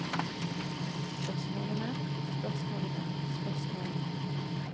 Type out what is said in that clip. spørsmålene spørsmålene spørsmålene